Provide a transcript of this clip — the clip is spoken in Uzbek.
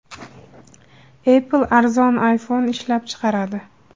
Apple arzon iPhone ishlab chiqaradi.